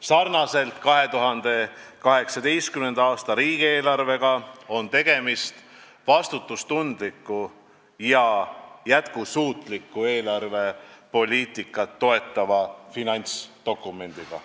Sarnaselt 2018. aasta riigieelarvega on tegemist vastutustundliku ja jätkusuutlikku eelarvepoliitikat toetava finantsdokumendiga.